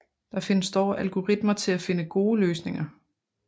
Der findes dog algoritmer til at finde gode løsninger